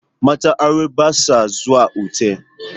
Matan aure ba sa zuwa otal.